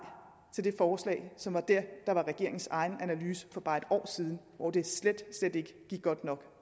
til det forslag som var det der var regeringens egen analyse for bare et år siden hvor det slet slet ikke gik godt nok